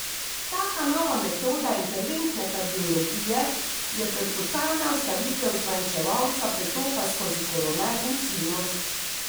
Taka nova metoda interventne kardiologije je perkutana vstavitev zmanjševalca pretoka skozi koronarni sinus.